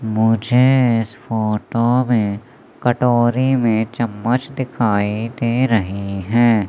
मुझे इस फोटो में कटोरी में चम्मच दिखाई दे रही हैं।